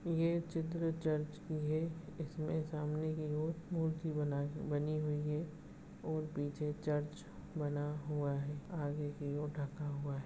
ये चित्र चर्च की है इसमें सामने की और मूर्ति बना बनी हुई है और पीछे चर्च बना हुआ है आगे कि और ढका हुआ है।